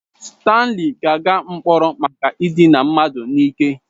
Stanley ga-aga mkpọrọ maka idina mmadụ n'ike.